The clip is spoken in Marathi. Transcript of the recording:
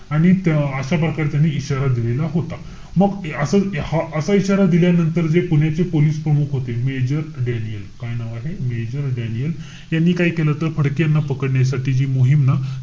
आणि तो अं अशाप्रकारे त्यांनी इशारा दिलेला होता. मग असं हा असा इशारा दिल्यानंतर जे पुण्याचे पोलीस प्रमुख होते. major Daniel. काय नाव आहे? major Daniel. ह्यांनी काय केलं होतं? फडकेंना पकडण्यासाठी जी मोहीम ना,